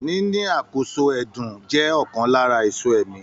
Níní àkóso ẹdun jẹ ọkan lára èso ẹ̀mí.